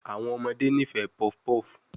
Awọn ọmọde nifẹ puff puff